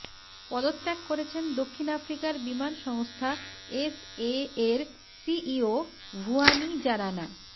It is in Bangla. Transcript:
পদত্যাগ করেছেন দক্ষিণ আফ্রিকার বিমান সংস্থা এসএএর সিইও ভুয়ানি জারানা